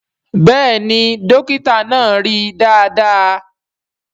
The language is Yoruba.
Bẹ́ẹ̀ni Dókítà náà rí dáadáa